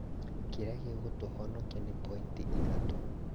Kĩrĩa gĩgũtũhonokia nĩ pointi ithatũ